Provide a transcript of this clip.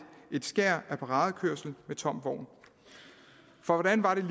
et skær af paradekørsel med tom vogn for hvordan var det